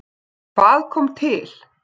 Hvað kom til?